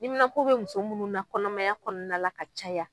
Niminapo bɛ muso munnu na kɔnɔmaya kɔnɔna na la ka caya.